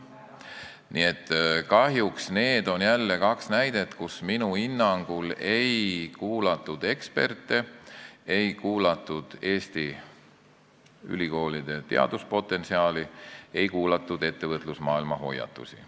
Nii et kahjuks on need jälle kaks näidet selle kohta, kui minu hinnangul ei kuulatud eksperte, ei kuulatud Eesti ülikoolide teaduspotentsiaali, ei kuulatud ettevõtlusmaailma hoiatusi.